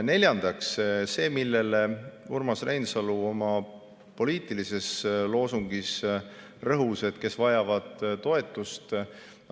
Neljandaks, see, millele Urmas Reinsalu oma poliitilises loosungis rõhus: kes vajavad toetust.